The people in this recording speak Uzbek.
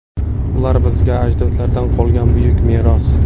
Ular bizga ajdodlardan qolgan buyuk meros.